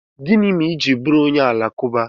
Gịnị mere i ji bụrụ onye Alakụba?